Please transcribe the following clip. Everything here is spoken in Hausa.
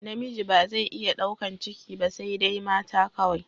Namiji ba zai iya daukan ciki ba saidai mata kawai